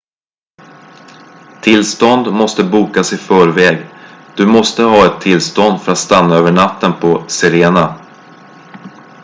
tillstånd måste bokas i förväg du måste ha ett tillstånd för att stanna över natten på sirena